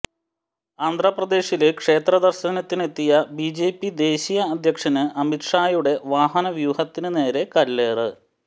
ആന്ധ്രപ്രദേശില് ക്ഷേത്ര ദര്ശനത്തിനെത്തിയ ബിജെപി ദേശീയ അധ്യക്ഷന് അമിത് ഷായുടെ വാഹനവ്യൂഹത്തിന് നേരെ കല്ലേറ്